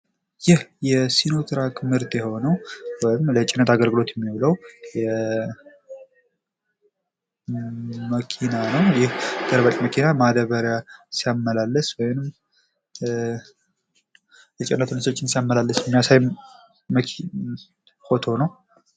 ይህ የሲኖ ትራክ ምርት የሆነዉ ወይም ለጭነት አገልግሎት የሚዉለዉ መኪና ነዉ። ይህ ገልባጭ መኪና ማዳበሪያ ሲያመላልስ ወይም የጭነት ምርቶችን ሲያመላልስ የሚሳይ ፎቶ ነዉ።